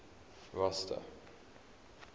rosta